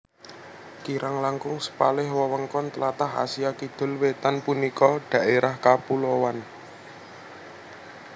Kirang langkung sepalih wewengkon tlatah Asia Kidul Wétan punika dhaérah kapulowan